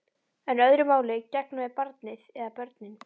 En öðru máli gegnir með barnið. eða börnin.